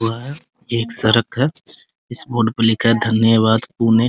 हुआ है ये एक सड़क है | इस बोर्ड पे लिखा है धन्यवाद पुणे |